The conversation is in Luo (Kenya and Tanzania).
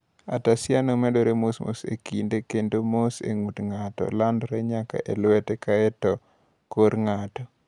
Ataxiano medore mos e kinde kendo mos e ng’ut ng’ato landore nyaka e lwete, kae to e kor ng’ato.